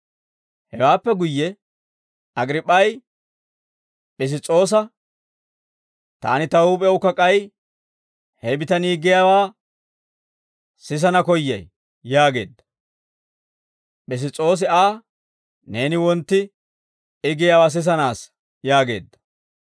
Hewaappe guyye Agriip'p'ay Piss's'oosa, «Taani ta huup'ewukka k'ay he bitanii giyaawaa sisana koyyay» yaageedda. Piss's'oosi Aa, «Neeni wontti I giyaawaa sisanaassa» yaageedda.